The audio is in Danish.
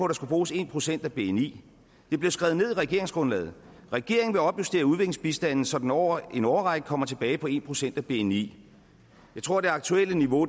der skulle bruges en procent af bni det blev skrevet ned i regeringsgrundlaget regeringen vil opjustere udviklingsbistanden så den over en årrække kommer tilbage på en procent af bni jeg tror det aktuelle niveau